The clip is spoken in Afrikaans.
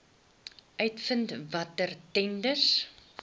uitvind watter tenders